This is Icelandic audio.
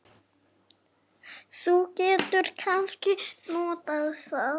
Þú getur kannski notað það.